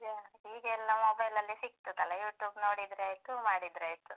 ಈಗ, ಈಗ ಎಲ್ಲ mobile ಲಲ್ಲೆ ಸಿಗ್ತದಲ್ಲಾ, YouTube ನೋಡಿದ್ರೆ ಆಯ್ತು ಮಾಡಿದ್ರೆ ಆಯ್ತು.